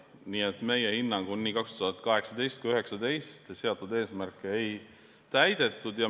Nii et meie hinnangul ei 2018 ega ka 2019 seatud eesmärke ei täidetud.